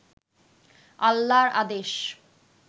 আল্লাহর আদেশ